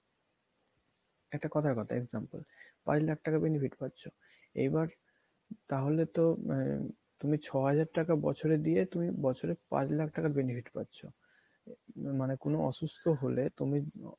একটা কথার কথা example পাঁচ লাখ টাকা বেনিফিট পাচ্ছ এইবার তাহলে তো আহ তুমি ছ হাজার টাকা বছরে দিয়ে তুমি বছরে পাঁচ লাখ টাকার benefit পাচ্ছ মানে কোনো অসুস্থ হলে তুমি